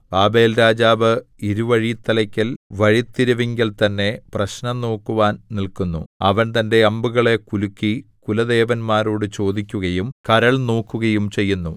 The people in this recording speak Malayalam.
ബാബേൽരാജാവ് ഇരുവഴിത്തലയ്ക്കൽ വഴിത്തിരിവിങ്കൽ തന്നെ പ്രശ്നം നോക്കുവാൻ നില്ക്കുന്നു അവൻ തന്റെ അമ്പുകളെ കുലുക്കി കുലദേവന്മാരോടു ചോദിക്കുകയും കരൾ നോക്കുകയും ചെയ്യുന്നു